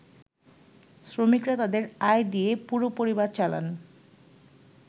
“শ্রমিকরা তাদের আয় দিয়ে পুরো পরিবার চালান।